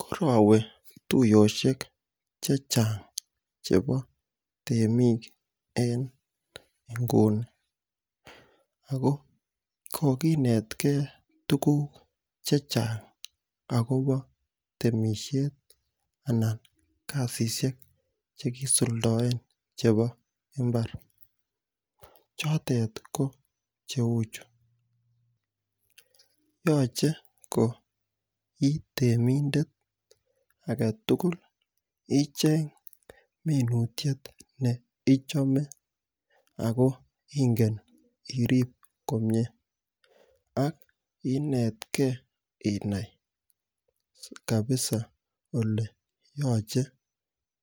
Korawe tuyoshek che chang' chepo temiik en inguni ako kokinetgei tuguk che chang' chepo temishet anan kasishek che kisuldaen chepo mbar. Chotet ko che u chu, yache ko i temindet age tugul icheng' minutiet ne ichame ako ingen irip komye ak inetgei inai kapisa ole yache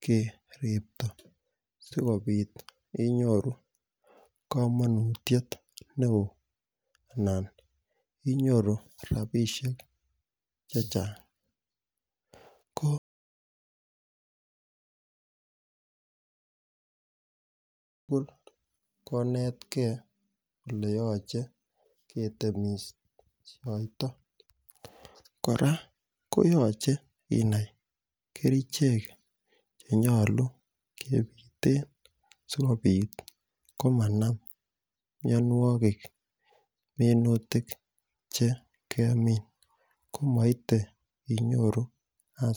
keriptan asikopit inyoru kamanutiet ne oo anan inyoru rapishek che chang'. Ko kopur konetgei ole yache ketemishaita. Kora ko yache inai kerichek che nyalun kepirten asikopit ko mnan mianwogik minutik che kemin ko maite inyoru asenet.